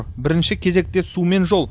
бірінші кезекте су мен жол